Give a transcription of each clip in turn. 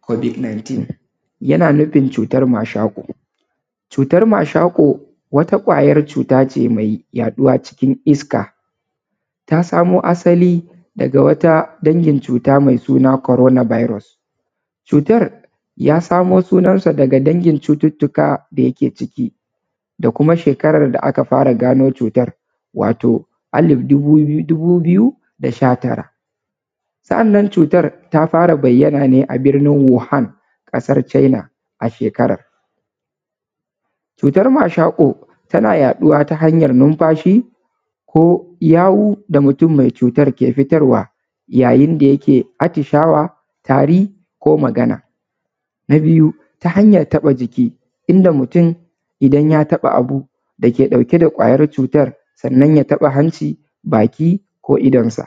Covid-19 yana nufin cutar mashaƙo wata ƙwayar vuta ne mai yaɗuwa cikin iska ta samo asali daga wata cuta mai suna corona virus. Ya samo sunan sa daga dangin cututtuka da yake ciki da kuma. Shekarar da aka fara gano cutar wato alif dubu biyu da sha tara. Sannan cutar ta fara bayyana ne a birnin Wuhan ƙasar China, a shekarar cutar mashaƙo tana yaɗuwa ta hanyar numfashi ko yawu da mutum mai cutar yake fitarwa yayin da yake atishawa, tari ko magana. Na biyu ta hanyar taba jiki inda mutum idan ya taba abu da yake ɗauke da ƙwayar cutar sannan ya taba abinci baki ko idonsa.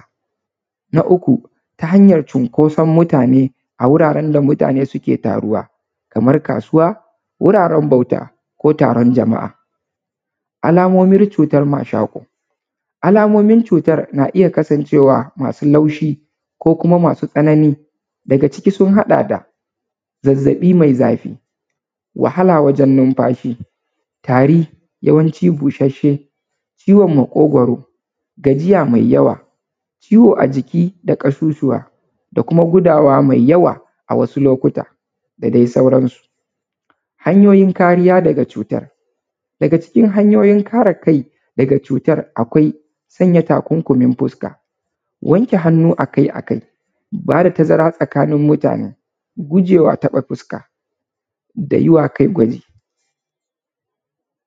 Na uku ta Hanyar cinkoson mutane, a wuraren da mutane suke taruwa kamar kasuwa wuraren bauta ko taron jama'a. Alamomi cutar mashaƙo, alamomi cutar mashaƙo na iya kasancewa masu laushi ko kuma masu tsanani. Zazzabi mai zafi wahala wajen numfashi rashin isasshe ciwon maƙogoron gajiya mai yawa, ciwo a jiki da kasusuwa da kuma hudawa mai yawa a wasu lokuta da dai sauransu. Hanyoyin kariya daga cutar, daga cikin hanyoyin kare kai daga cutar, sanya takunkumin fuska, wanke hannu akai a kai, ba da tazara tsakanin mutane, guje wa taɓa fuska da yi wa kai gwaji.